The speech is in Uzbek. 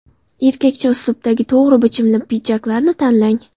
Erkakcha uslubdagi to‘g‘ri bichimli pidjaklarni tanlang.